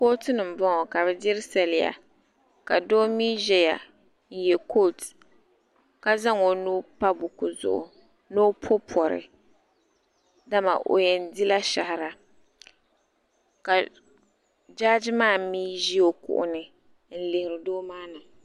kɔtuni n bɔŋɔ ka bɛ dirisaraya ka do mi ʒɛya n yɛ kutɛ ka zan o nuu pa kuɣizugu dama o yɛn di la shɛhira ka jaaji maa mi ʒɛ o kuɣu zuɣigu